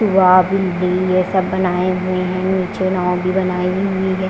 भी दी है सब बनाए हुए हैं नीचे नाव भी बनाई हुई है।